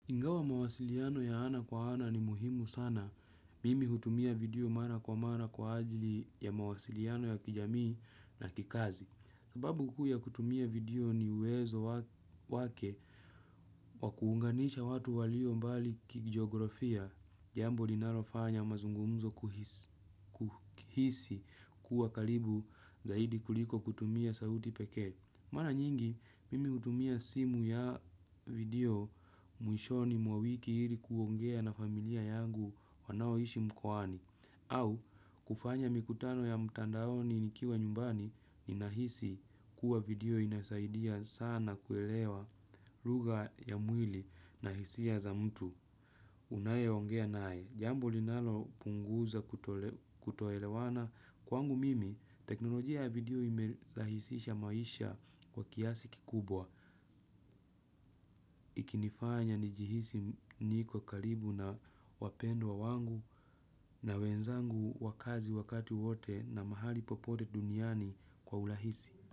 Ingawa mawasiliano ya ana kwa ana ni muhimu sana, mimi hutumia video mara kwa mara kwa ajili ya mawasiliano ya kijamii na kikazi. Sababu kuu ya kutumia video ni uwezo wake wakuunganisha watu walio mbali kijiografia. Jambo linalofanya mazungumzo kuhisi kuwa karibu zaidi kuliko kutumia sauti peke. Mara nyingi, mimi kutumia simu ya video mwishoni mwa wiki ili kuongea na familia yangu wanaoishi mkoani. Au, kufanya mikutano ya mtandaoni nikiwa nyumbani ninahisi kuwa video inasaidia sana kuelewa lugha ya mwili na hisia za mtu. Unayeongea naye. Jambo linalo punguza kutoelewana kwangu mimi, teknolojia ya video imerahisisha maisha wa kiasi kikubwa. Ikinifanya nijihisi niko karibu na wapendwa wangu na wenzangu wa kazi wakati wote na mahali popote duniani kwa urahisi.